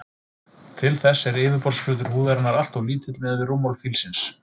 Til þess er yfirborðsflötur húðarinnar alltof lítill miðað við rúmmál fílsins.